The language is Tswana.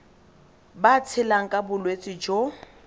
ba tshelang ka bolwetsi jo